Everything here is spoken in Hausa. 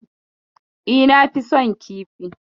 Eh na fi son kifi.